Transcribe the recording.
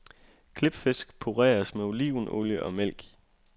Klipfisk pureres med olivenolie og mælk.